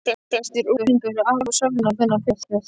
Flestir unglingar eru afar sólgnir í þennan fiskrétt.